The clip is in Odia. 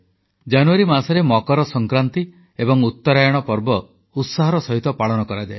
ଜାନୁୟାରୀ ମାସରେ ମକର ସଂକ୍ରାନ୍ତି ଏବଂ ଉତ୍ତରାୟଣ ପର୍ବ ଉତ୍ସାହର ସହିତ ପାଳନ କରାଯାଏ